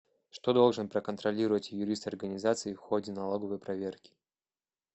что должен проконтролировать юрист организации в ходе налоговой проверки